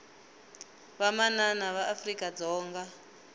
vamanana va afrika dzonga